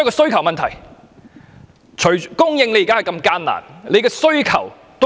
房屋問題關乎供應，亦關乎需求。